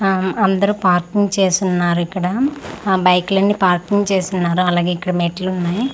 అహ్మ్ అందరూ పార్కింగ్ చేసున్నారిక్కడ ఆ బైకులన్నీ పార్కింగ్ చేసున్నారు అలాగే ఇక్కడ మెట్లున్నాయ్.